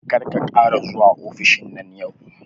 Kar ka ƙara zuwa ofishin nan yau